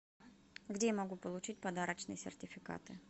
где я могу получить подарочные сертификаты